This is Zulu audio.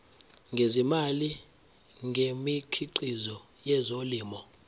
ngezimali ngemikhiqizo yezolimo